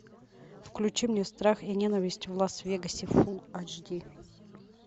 включи мне страх и ненависть в лас вегасе фулл айч ди